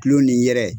Kulo ni yɛrɛ